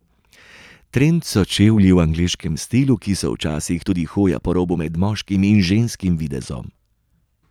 Trend so čevlji v angleškem stilu, ki so včasih tudi hoja po robu med moškim in ženskim videzom.